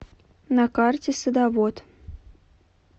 на карте садовод